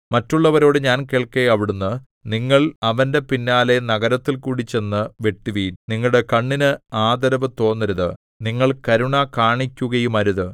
മറ്റുള്ളവരോട് ഞാൻ കേൾക്കെ അവിടുന്ന് നിങ്ങൾ അവന്റെ പിന്നാലെ നഗരത്തിൽകൂടി ചെന്നു വെട്ടുവിൻ നിങ്ങളുടെ കണ്ണിന് ആദരവ് തോന്നരുത് നിങ്ങൾ കരുണ കാണിക്കുകയുമരുത്